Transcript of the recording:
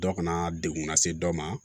Dɔ kana degun lase dɔ ma